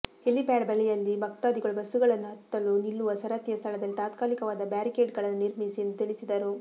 helipad ಬಳಿಯಲ್ಲಿ ಭಕ್ತಾದಿಗಳು ಬಸ್ಸುಗಳನ್ನು ಹತ್ತಲು ನಿಲ್ಲುವ ಸರತಿಯ ಸ್ಥಳದಲ್ಲಿ ತಾತ್ಕಾಲಿಕವಾದ ಬ್ಯಾರಿಕೇಡಿಂಗ್ಗಳನ್ನು ನಿರ್ಮಿಸಿ ಎಂದು ತಿಳಿಸಿದರು